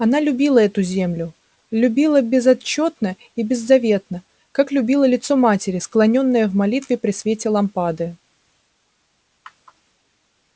она любила эту землю любила безотчётно и беззаветно как любила лицо матери склонённое в молитве при свете лампады